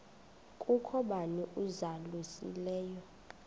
kukho bani uzalusileyo